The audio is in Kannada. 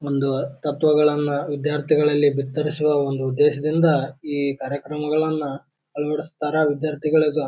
ಒಂದು ತತ್ವಗಳನ್ನು ವಿದ್ಯಾರ್ಥಿಗಳಲ್ಲಿ ಬಿತ್ತರಿಸುವ ಒಂದು ಉದ್ದೇಶದಿಂದ ಈ ಕಾರ್ಯಕ್ರಮಗಳನ್ನ ಅಳವಡಿಸುತ್ತಾರಾ ವಿದ್ಯಾರ್ಥಿಗಳ --